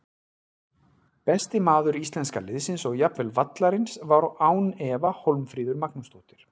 Besti maður íslenska liðsins og jafnvel vallarins var án efa Hólmfríður Magnúsdóttir.